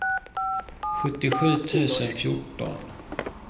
sjuttiosju tusen fjorton